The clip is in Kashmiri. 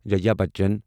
جایا بَچن